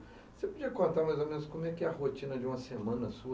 Você podia contar mais ou menos como é a rotina de uma semana sua?